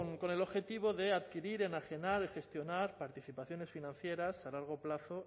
con el objetivo de adquirir enajenar y gestionar participaciones financieras a largo plazo